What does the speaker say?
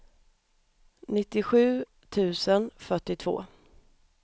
nittiosju tusen fyrtiotvå